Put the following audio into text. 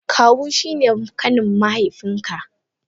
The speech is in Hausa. Kawu shine kanin mahaifiyanka.